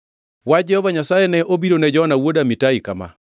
Wach Jehova Nyasaye ne obiro ne Jona wuod Amitai kama: